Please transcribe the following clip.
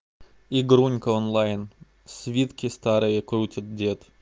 игрунька онлайн свитки старые крутит дед